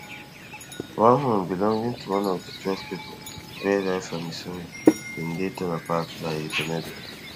one home belonging to one of di twelve pipo wey die for missouri bin dey torn apart by a tornado